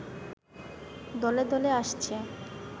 দলে দলে আসছে